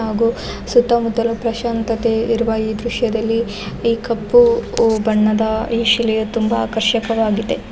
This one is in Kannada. ಹಾಗು ಸುತ್ತಮುತ್ತಲು ಪ್ರಶಾಂತತೆ ಇರುವ ಈ ದ್ರಶ್ಯದಲ್ಲಿ ಈ ಕಪ್ಪು ಬಣ್ಣದ ಈ ಶಿಲೆಯು ತುಂಬಾ ಆಕರ್ಷಕವಾಗಿದೆ.